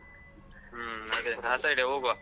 ಹ್ಮ್ ಅದೆ ಆ side ಏ ಹೋಗುವ.